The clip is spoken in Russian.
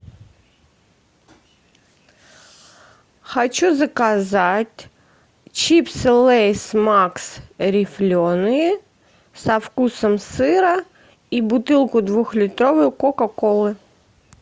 хочу заказать чипсы лейс макс рифленые со вкусом сыра и бутылку двухлитровую кока колы